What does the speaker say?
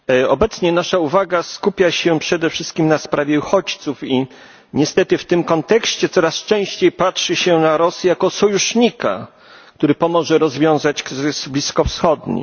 Obecnie nasza uwaga skupia się przede wszystkim na sprawie uchodźców i, niestety, w tym kontekście coraz częściej patrzy się na Rosję jako sojusznika, który pomoże rozwiązać kryzys bliskowschodni.